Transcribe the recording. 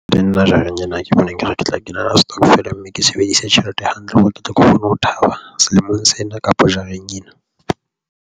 Le nna jareng ena, ke bona ekare ke tla kenela setokofela mme ke sebedise tjhelete hantle hore ke tle ke kgone ho thaba selemong sena kapa jareng ena.